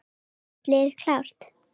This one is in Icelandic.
Er þitt lið klárt?